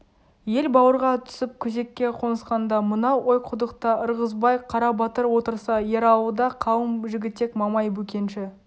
ел бауырға түсіп күзекке қонысқанда мынау ойқұдықта ырғызбай қарабатыр отырса ералыда қалың жігітек мамай бөкенші